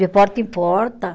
De porta em porta.